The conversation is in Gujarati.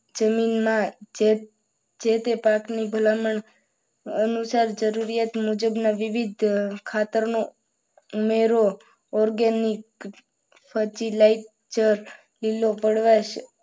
તમિલના જે જે તે પાકની ભલામણ અનુસાર જરૂરિયાત મુજબના વિવિધ ખાતરનો ઉમેરો organic fertilizer ન વપરાશ